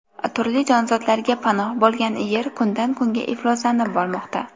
Turli jonzotlarga panoh bo‘lgan Yer kundan-kunga ifloslanib bormoqda.